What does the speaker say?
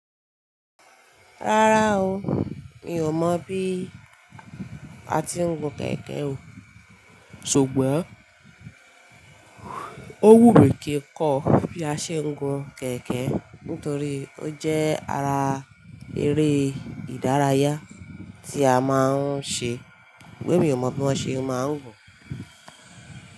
Rárá o, mi ò mọ̀ bí a ti ń gun kẹ̀kẹ́ o. Ṣùgbọ́n, owú mi kì n kọ bí a ṣe ń gun kẹ̀kẹ́ nítorí ó jẹ́ ara eré ìdárayá tí a máa ń ṣe. Pe mi ò mọ̀ bí wọ́n ṣe máa ń gun.